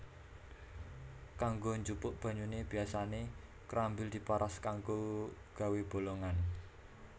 Kanggo njupuk banyune biasane krambil diparas kanggo gawé bolongan